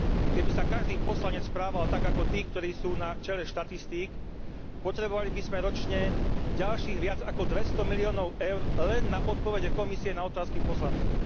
Keby sa každý poslanec správal tak ako tí, ktorí sú na čele štatistík, potrebovali by sme ročne ďalších viac ako 200 miliónov Eur len na odpovede Komisie na otázky poslancov.